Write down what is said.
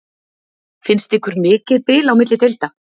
Finnst ykkur mikið bil á milli deilda?